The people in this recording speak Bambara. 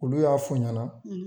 Olu y'a f'u ɲana